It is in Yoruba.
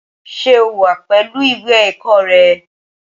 Ṣé o wà pẹ̀lú ìwé ẹ̀kọ́ rẹ?